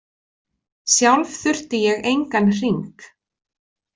Sjálf þurfti ég engan hring.